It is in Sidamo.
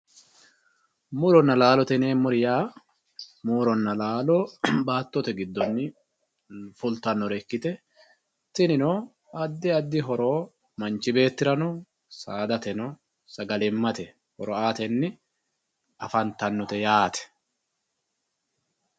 Murona laalote yinemori yaa murona laalo batote gidoni fultanota ikite tinino adi adi horo manchi betirano saadate sagalimate horo uyitanote yaate